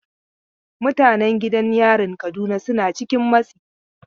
Mutanen gidan yarin Kaduna suna cikin matsi.